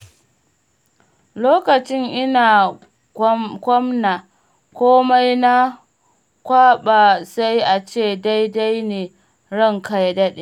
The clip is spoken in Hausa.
Lokacin ina gwamna, komai na kwaɓa sai ace daidai ne ranka ya daɗe.